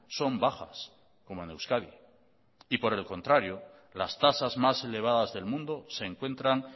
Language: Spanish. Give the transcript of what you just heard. son bajas como en euskadi y por el contrario las tasas más elevadas del mundo se encuentran